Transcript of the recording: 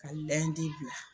Ka bila.